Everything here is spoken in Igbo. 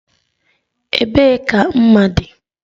Ebee ka mma dị?